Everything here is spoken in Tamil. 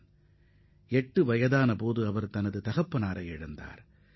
அவருக்கு எட்டு வயதே ஆகும் போது தந்தையை இழந்துவிட்டார்